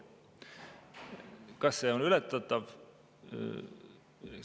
Kas see on ületatav?